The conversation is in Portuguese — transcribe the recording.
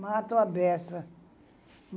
Mato, abeça.